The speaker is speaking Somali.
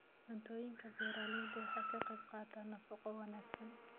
Cuntooyinka beeralaydu waxay ka qaybqaataan nafaqo wanaagsan.